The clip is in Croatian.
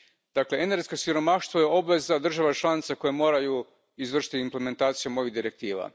Dakle, energetsko siromaštvo je obveza država članica koje moraju izvršiti implementaciju ovih direktiva.